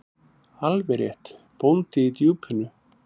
Alveg rétt: Bóndi í Djúpinu.